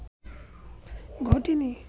ঘটেনি